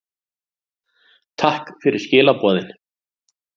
Takk fyrir skilaboðin.